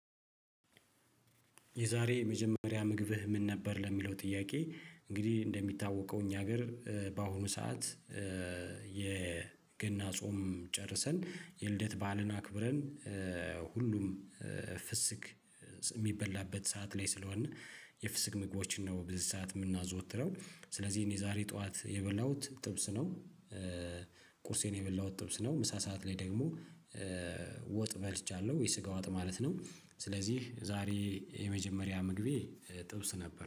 የዛሬ የመጀመሪያ ምግብህ ምን ነበር ለሚለው ጥያቄ እንግዲህ እንደሚታወቀው እኛ ሀገር በአሁኑ ሰዓት የገና ጾም ጨርሰን የልደት ባዕልን አክብረን ሁሉም ፍስክ የሚበላበት ሰዓት ላይ ስለሆንን የፍስክ ምግቦችን ነው ብዙ ሰዓት የምናዘወትረው ስለዚህ የዛሬ ጠዋት የበላሁት ጥብስ ነው። ቁርሴን የበላሁት ጥብስ ነው ምሳ ሰዓት ላይ ደግሞ ወጥ በልቻለሁ የስጋ ወጥ ማለት ነው። ስለዚህ ዛሬ የመጀመሪያ ምግቤ ጥብስ ነበር